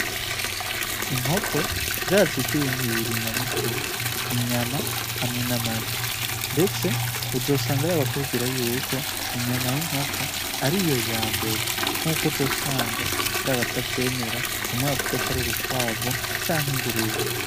Inkoko zirazwi kubintu bibibri nyamukuru ,inyama hamwe n'amagi ndetse uzosanga hariho n'abakubwira yuko inyamay'inkoko ariyo yambere nk'uko uzosanga har'abatavyemera, bamwe bavuga ko ari urukwavu canke ingurube.